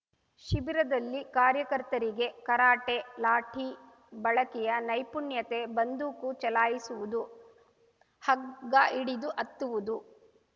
ಶಿಬಿರದಲ್ಲಿ ಕಾರ್ಯಕರ್ತರಿಗೆ ಕರಾಟೆ ಲಾಠಿ ಬಳಕೆಯ ನೈಪುಣ್ಯತೆ ಬಂದೂಕು ಚಲಾಯಿಸುವುದು ಹಗ್ಗ ಹಿಡಿದು ಹತ್ತವುದು